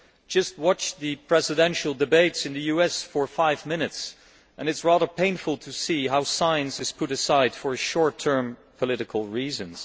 Just watch the presidential debates in the US for five minutes, and it is rather painful to see how science is put aside for short term political reasons.